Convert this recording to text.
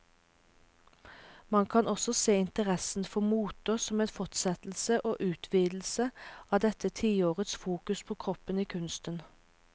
Man kan også se interessen for moter som en fortsettelse og utvidelse av dette tiårets fokus på kroppen i kunsten.